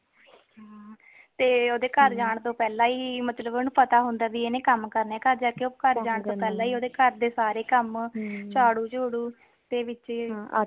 ਹਮ ਤੇ ਓਦੇ ਘਰ ਜਾਣ ਤੋਂ ਪਹਿਲਾ ਹੀ ਮਤਲਬ ਓਨੁ ਪਤਾ ਹੁੰਦਾ ਹੈ ਕਿ ਉਨੇ ਕਮ ਕਰਨੇ ਘਰ ਜਾਕੇ ਓ ਘਰ ਜਾਣ ਤੋਂ ਪਹਿਲਾ ਹੀ ਓਦੇ ਘਰ ਦੇ ਸਾਰੇ ਕਮ ਝਾੜੂ ਝੁਡੂ ਤੇ ਵਿਚ